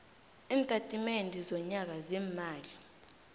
iintatimende zonyaka zeemali